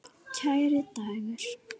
Kæri Dagur.